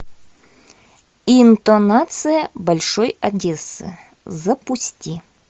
интонация большой одессы запусти